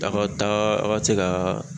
A ka taa a ka se ka